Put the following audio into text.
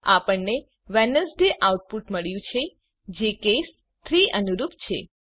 આપણને Wednesday output મળ્યું છે જે કેસ 3 અનુરૂપ છે